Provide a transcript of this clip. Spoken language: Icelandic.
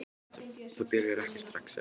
Það byrjar ekki strax, sagði Örn.